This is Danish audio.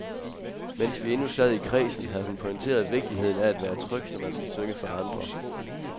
Mens vi endnu sad i kredsen, havde hun pointeret vigtigheden af at være tryg, når man skal synge for andre.